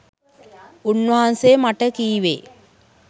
උන්වහන්සෙ මට කිවේ